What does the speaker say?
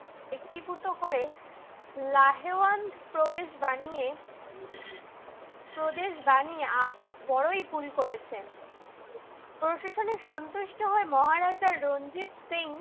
একভূত করে, লাহেয়ান প্রবেশ বানিয়ে প্রদেশ বানিয়ে বড়ই ভুল করেছেন। প্রশাসনে সন্তুষ্ট হয়ে মহারাজা রঞ্জিত সিং